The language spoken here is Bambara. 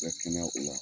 Bɛ kɛnɛya o la